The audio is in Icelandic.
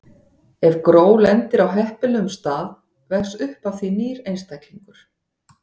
Ef gró lendir á heppilegum stað vex upp af því nýr einstaklingur.